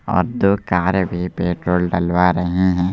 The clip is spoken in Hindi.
और दो कार भी पेट्रोल डलवा रहे हैं।